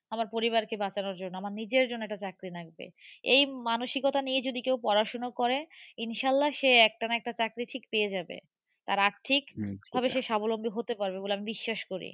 আমার পরিবার কে বাঁচানোর জন্য। আমার নিজের জন্য একটা চাকরি লাগবে। এই মানসিকতা নিয়ে যদি কেউ পড়াশুনা করে, ইনশাআল্লা সে একটা না একটা চাকরি ঠিক পেয়ে যাবে। তার আর্থিক ভাবে সে স্বাবলম্বী হতে পারবে বলে আমি বিশ্বাস করি।